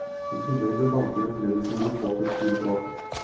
I tillegg ble banker og kreditorer påført store tap.